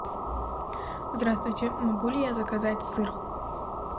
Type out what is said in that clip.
здравствуйте могу ли я заказать сыр